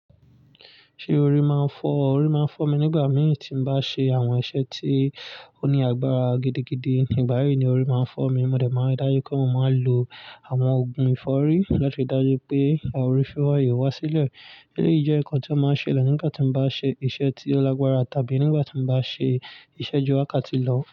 Ṣé orí máa ń fọ́? Orí máa ń fọ́ mi nígbà mìí tí n bá ṣe àwọn iṣẹ́ tí ó ní agbára gidigidi. Nígbà yìí ni orí máa ń fọ́ mi. Mo dẹ̀ máa ri dájú pé mo máa ń lo àwọn òògùn ìfọ́rí láti ri dájú pé àwọn orí fifo yii wá wá sílẹ̀. Eléyìí jẹ́ nǹkan tí o máa ń ṣele nígbà tí n bá ṣe iṣẹ́ tí ó lágbára tàbí nígbà tí mo bá ṣe iṣẹ́ ju wákàtí lọ.